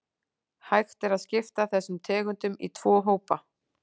Hægt er að skipta þessum tegundum í tvo hópa.